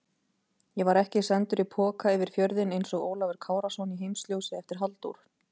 Ég var ekki sendur í poka yfir fjörðinn einsog Ólafur Kárason í Heimsljósi eftir Halldór